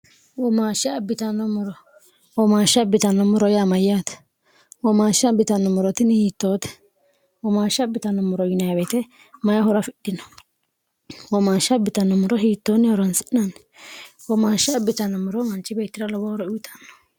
wowomaashsha abbitannommoro yaamayyaate woomaashsha abbitanno morotini hiittoote woomaashsha abbitannommoro yinawete may hora afidhino womaashsha abbitannommoro hiittoonni horonsi'nanni woomaashsha abbitannommoro manchi beettira lowohoro uyitanno